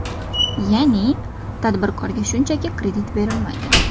Ya’ni, tadbirkorga shunchaki kredit berilmaydi.